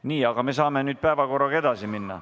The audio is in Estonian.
Praegu aga saame päevakorraga edasi minna.